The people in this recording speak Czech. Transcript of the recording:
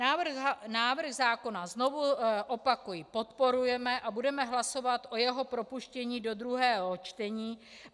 Návrh zákona, znovu opakuji, podporujeme a budeme hlasovat o jeho propuštění do druhého čtení.